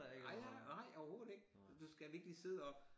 Nej jeg nej overhovedet ikke du skal virkelig sidde op